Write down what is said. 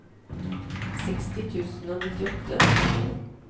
seksti tusen og nittiåtte